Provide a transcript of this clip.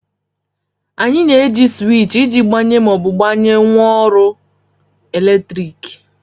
Anyị na-eji sịwịchị iji gbanye ma gbanyụọ ngwaọrụ eletrik